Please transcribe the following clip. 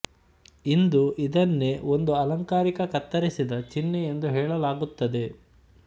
ಇಂದು ಇದನ್ನೇ ಒಂದು ಅಲಂಕಾರಿಕ ಕತ್ತರಿಸಿದ ಚಿನ್ಹೆ ಎಂದು ಹೇಳಲಾಗುತ್ತದೆ